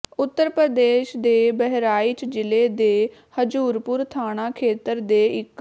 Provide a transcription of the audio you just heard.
ਉੱਤਰ ਪ੍ਰਦੇਸ਼ ਦੇ ਬਹਿਰਾਇਚ ਜਿਲ੍ਹੇ ਦੇ ਹਜੂਰਪੁਰ ਥਾਣਾ ਖੇਤਰ ਦੇ ਇੱਕ